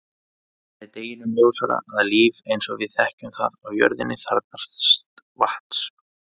Það er deginum ljósara að líf eins og við þekkjum það á jörðinni þarfnast vatns.